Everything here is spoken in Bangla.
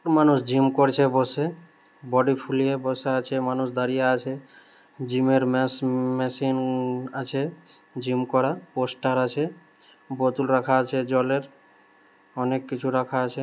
মানুষ জিম করছে বসে বডি ফুলিয়ে বসে আছে মানুষ দাঁড়িয়ে আছে জিমের ম্যাশ-মেশিন আছে জিম করা পোস্টার আছে বোতল রাখা আছে জলের অনেক কিছু রাখা আছে